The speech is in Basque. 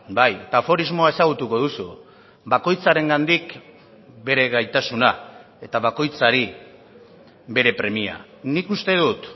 bai eta aforismoa ezagutuko duzu bakoitzarengandik bere gaitasuna eta bakoitzari bere premia nik uste dut